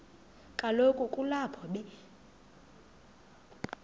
kaloku kulapho be